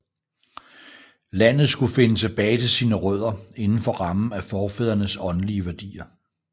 Landet skulle finde tilbage til sin rødder indenfor rammen af forfædrenes åndelige værdier